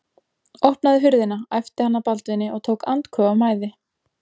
Opnaðu hurðina, æpti hann að Baldvini og tók andköf af mæði.